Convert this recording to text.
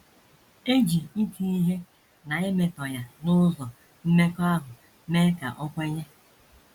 E ji iti ihe na imetọ ya n’ụzọ mmekọahụ mee ka o kwenye.